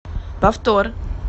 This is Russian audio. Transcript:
повтор